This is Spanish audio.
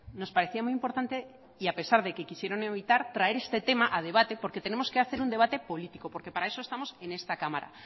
nos parecía muy importante y a pesar de que quisieron evitar traer este tema a debate porque tenemos que hacer un debate político porque para eso estamos en esta cámara